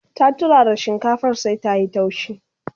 ta turara shinkafar sai ta.yi taushi